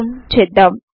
Zoom చేద్దాం